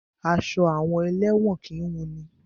Aṣọ àwọn elẹ́wọ̀n kìí wunni.